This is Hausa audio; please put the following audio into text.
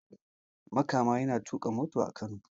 Makama yana tuka mota a Kano